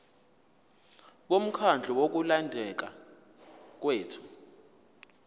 bomkhandlu wokulondeka kwethu